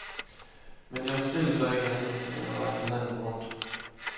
Men jeg bestilte så ikke andet end at rejse landet rundt.